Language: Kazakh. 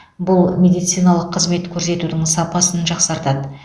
бұл медициналық қызмет көрсетудің сапасын жақсартады